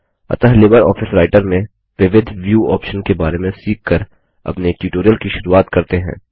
अतः LibreOffice Writer में विविध व्यू ऑप्शन के बारे में सीख कर अपने ट्यूटोरियल की शुरूआत करते हैं